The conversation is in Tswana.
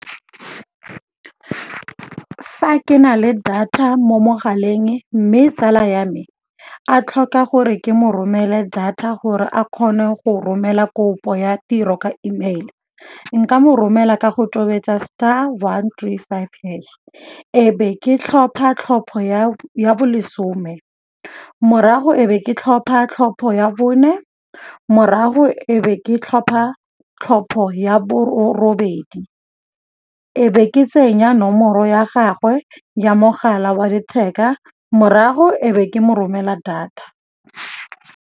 Fa ke na le data mo mogaleng mme tsala ya me a tlhoka gore ke mo romele data gore a kgone go romela kopo ya tiro ka email, nka mo romela ka go tobetsa star one three five hash. E be ke tlhopha tlhopho ya bo lesome, morago e be ke tlhopha tlhopho ya bone, morago e be ke tlhopha tlhopho ya bobedi, e be ke tsenya nomoro ya gagwe ya mogala wa letheka morago e be ke mo romela data.